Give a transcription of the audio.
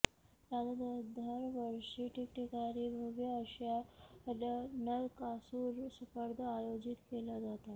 राज्यात दरवर्षी ठिकठिकाणी भव्य अश्या नरकासूर स्पर्धा आयोजित केल्या जातात